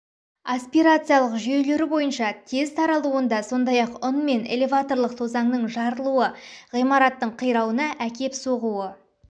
аспирациялық жүйелері бойынша тез таралуында сондай-ақ ұн мен элеваторлық тозаңның жарылуы ғимараттың қирауына әкеп соғуы